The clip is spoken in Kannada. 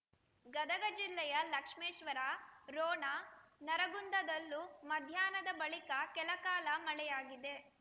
ಗದಗ ಜಿಲ್ಲೆಯ ಲಕ್ಷ್ಮೇಶ್ವರ ರೋಣ ನರಗುಂದದಲ್ಲೂ ಮಧ್ಯಾಹ್ನದ ಬಳಿಕ ಕೆಲಕಾಲ ಮಳೆಯಾಗಿದೆ